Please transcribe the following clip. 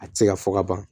A tɛ se ka fɔ ka ban